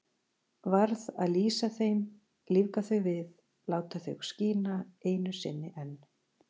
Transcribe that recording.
Varð að lýsa þeim, lífga þau við, láta þau skína einu sinni enn.